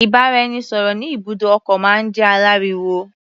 Ìbáraẹnisọ̀rọ̀ ní ibùdó ọkọ̀ máa ń jẹ́ aláriwo.